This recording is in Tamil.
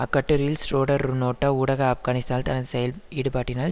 அக்கட்டுரையில் ஷ்ரோடர் நோட்ட ஊடாக ஆப்கானிஸ்தால் தனது செயஈடுபாட்டினால்